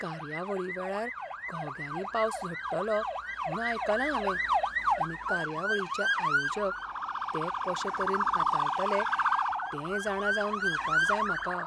कार्यावळी वेळार घोग्यांनी पावस झडटलो म्हूण आयकलां हांवें आनी कार्यवळीचे आयोजक तें कशे तरेन हाताळटले तें जाणा जावन घेवपाक जाय म्हाका.